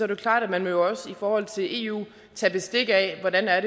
det klart at man jo også i forhold til eu vil tage bestik af hvordan det er